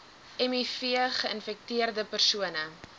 miv geinfekteerde persone